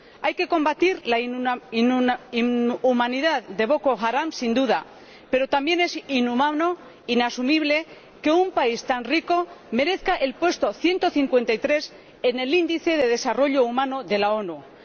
Hay que combatir la inhumanidad de Boko Haram —sin duda—, pero también es inhumano, inasumible que un país tan rico merezca el puesto 153 en el índice de desarrollo humano de las Naciones Unidas.